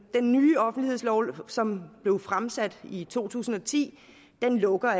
ny offentlighedslov som blev fremsat i to tusind og ti lukker